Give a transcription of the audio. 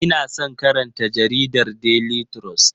Ina son karanta jaridar Daily trust.